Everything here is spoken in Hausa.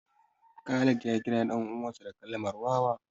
Khalid ya kira ɗan uwansa da kalmar wawa